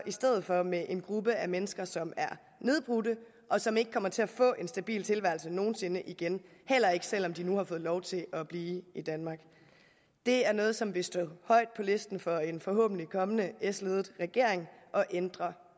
i stedet for med en gruppe af mennesker som er nedbrudte og som ikke kommer til at få en stabil tilværelse nogen sinde igen heller ikke selv om de nu har fået lov til at blive i danmark det er noget som vil stå højt på listen for en forhåbentlig kommende s ledet regering at ændre